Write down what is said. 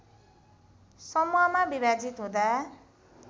समूहमा विभाजित हुँदा